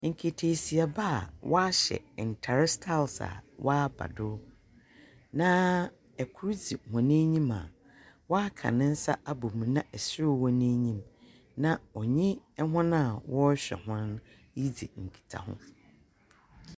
Nkataasiba a wɔahyɛ ntar styles a wɔaba do, na kor dzi hɔn enyim a ɔaka ne nsa abɔ mu na serew wɔ n’enyim na ɔnye hɔn a wɔrehwɛ hɔn no ridzi nkitaho.